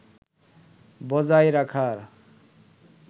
বজায় রাখার